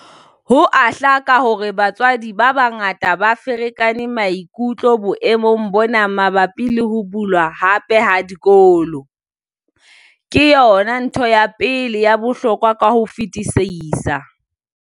Ho a hlaka hore batswadi ba bangata ba ferekane maikutlo boemong bona mabapi le ho bulwa hape ha dikolo. Ke yona ntho ya pele ya bohlokwa ka ho fetisisa.